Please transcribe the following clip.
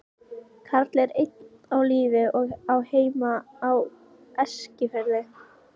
Karl er enn á lífi og á heima á Eskifirði.